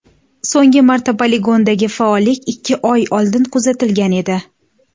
So‘nggi marta poligondagi faollik ikki oy oldin kuzatilgan edi.